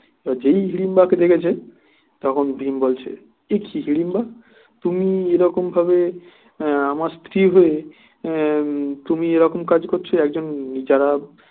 তো যেই হিড়িম্বা কে দেখেছে তখন ভীম বলছে একি হিড়িম্বা তুমি এরকম ভাবে আহ আমার স্ত্রী হয়ে তুমি এরকম কাজ করছো একজন যারা